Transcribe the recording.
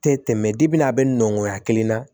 Tɛ tɛmɛ a bɛ nɔngɔ kelen na